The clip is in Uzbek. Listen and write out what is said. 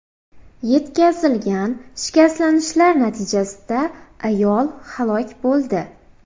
Yetkazilgan shikastlanishlar natijasida ayol halok bo‘ldi.